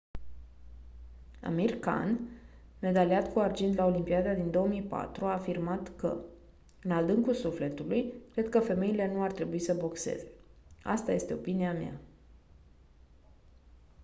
amir khan medaliat cu argint la olimpiada din 2004 a afirmat că: «în adâncul sufletului cred că femeile nu ar trebui să boxeze. asta este opinia mea».